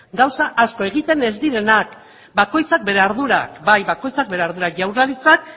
gauza asko egiten ez direnak bakoitzak bere ardurak bai bakoitzak bere ardurak jaurlaritzak